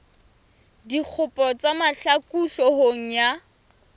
dikgopo tsa mahlaku hloohong ya